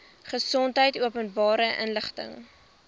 gesondheid openbare inligting